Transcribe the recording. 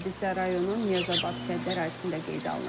Hadisə rayonun Niyazabad kəndi ərazisində qeydə alınıb.